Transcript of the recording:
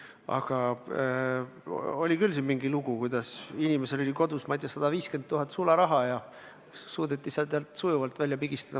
Aga oli küll mingi lugu, et inimesel oli kodus, ma ei tea, 150 000 eurot sularaha ja see suudeti talt sujuvalt välja pigistada.